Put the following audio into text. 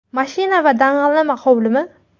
Mashina va dang‘illama hovlimi?